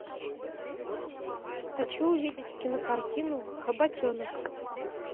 хочу увидеть кинокартину хоботенок